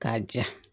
K'a ja